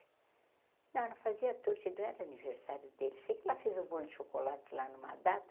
Não, ela fazia, não era aniversário dele, sei que ela fez um bolho de chocolate lá numa data.